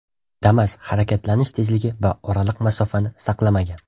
Damas harakatlanish tezligi va oraliq masofani saqlamagan.